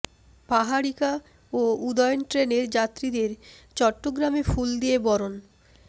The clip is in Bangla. পাহাড়িকা ও উদয়ন ট্রেনের যাত্রীদের চট্টগ্রামে ফুল দিয়ে বরণ